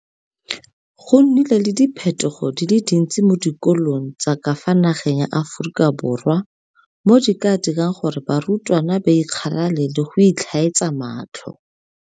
Go nnile le diphetogo di le dintsi mo dikolong tsa ka fa nageng ya Aforika Borwa mo di ka dirang gore barutwana ba ikgalale le go itlhaetsa matlho.